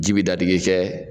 Ji bi da digi kɛ